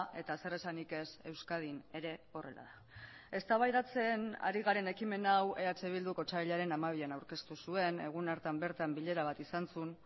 eta zer esanik ez euskadin ere horrela da eztabaidatzen ari garen ekimen hau eh bilduk otsailaren hamabian aurkeztu zuen egun hartan bertan bilera bat izan zuen